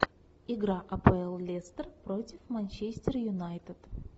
игра апл лестер против манчестер юнайтед